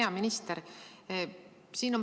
Hea minister!